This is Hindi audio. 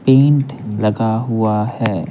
पेंट लगा हुआ है।